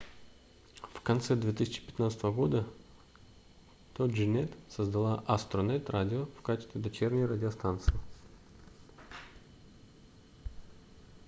в конце 2015 года toginet создала astronet radio в качестве дочерней радиостанции